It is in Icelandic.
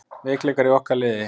Veikleikar í okkar liði?